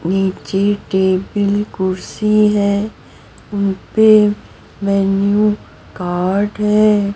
नीचे टेबिल कुर्सी है उन पे मेनू कार्ड है।